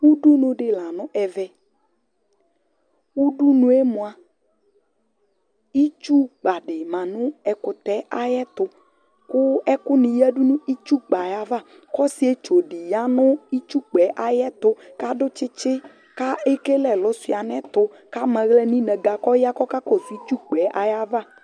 Udunu di la nu ɛvɛ, udunue mua itsukpa di ma nu ɛkutɛ ayi ɛtu, ku ɛkuni yiadù nu itsukpa ayava, k'ɔsietsu di ya nu itsukpaɛ ayiɛtu k'adu tsitsi, k'ekele ɛlu shua n'ayiɛtu, k'ama aɣla n'inága k'ɔya k'ɔka kɔsu itsukpa ayava